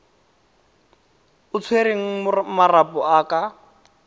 o tshwereng marapo a ka